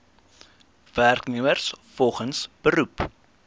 werknemers volgens beroep